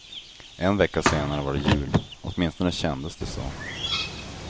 En vecka senare var det jul, åtminstone kändes det så.